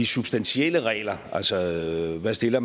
substantielle regler altså hvad man stiller